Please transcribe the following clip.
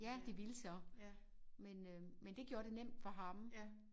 Ja det ville så men øh men det gjorde det nemt for ham